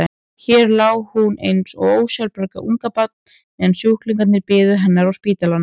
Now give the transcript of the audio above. Hér lá hún eins og ósjálfbjarga ungbarn meðan sjúklingarnir biðu hennar á spítalanum.